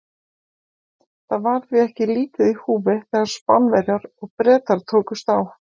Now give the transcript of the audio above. Það var því ekki lítið í húfi þegar Spánverjar og Bretar tókust á.